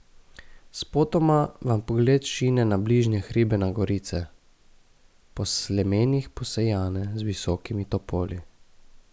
Spotoma vam pogled šine na bližnje hribe na gorice, po slemenih posejane z visokimi topoli.